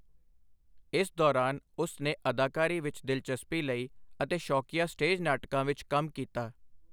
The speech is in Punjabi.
ਇਸ ਦੌਰਾਨ, ਉਸ ਨੇ ਅਦਾਕਾਰੀ ਵਿੱਚ ਦਿਲਚਸਪੀ ਲਈ ਅਤੇ ਸ਼ੌਕੀਆ ਸਟੇਜ ਨਾਟਕਾਂ ਵਿੱਚ ਕੰਮ ਕੀਤਾ।